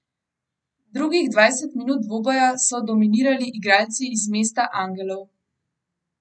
Drugih dvajset minut dvoboja so dominirali igralci iz mesta angelov.